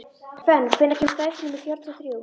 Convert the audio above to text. Fönn, hvenær kemur strætó númer fjörutíu og þrjú?